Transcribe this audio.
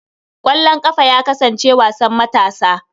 Ƙwallon ƙafa ya kasance wasan matasa.